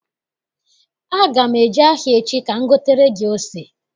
Aga m eje ahịa echi ka m gotere gị ose.